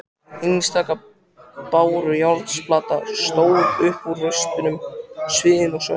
Einstaka bárujárnsplata stóð upp úr rústunum sviðin og svört.